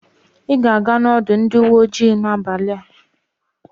Ị ga-aga n'ọdụ ndị uwe ojii n'abalị a.